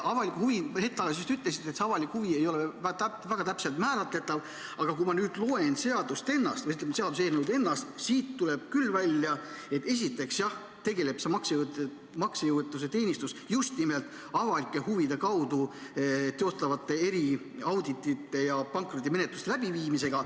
Hetk tagasi te ütlesite, et see avalik huvi ei ole väga täpselt määratletav, aga kui ma nüüd loen seaduseelnõu ennast, siis siit tuleb välja, et esiteks tegeleb see maksejõuetuse teenistus just nimelt avalike huvide kaudu teostatavate eri auditite ja pankrotimeneltuste läbiviimisega.